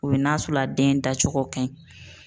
Komi n'a sɔrɔ a den dacogo ka ɲi.